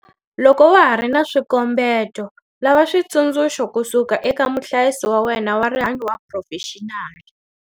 Loko wa ha ri na swikombeto, lava switsundzuxo kusuka eka muhlayisi wa wena wa rihanyo wa phurofexinali.